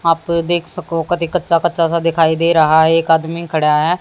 आप देख शकों का कदी कच्चा कच्चा सा दिखाई दे रहा है। एक आदमी खड़ा है।